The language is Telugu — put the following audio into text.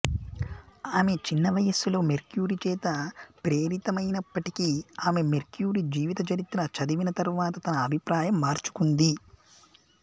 ఆమె చిన్నవయసులో మేరీక్యూరీ చేత ప్రేరితమైనప్పటికీ ఆమె మేరీక్యూరీ జీవితచరిత్ర చదివిన తరువాత తన అభిప్రాయం మార్చుకుంది